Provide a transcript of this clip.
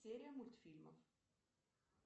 серия мультфильмов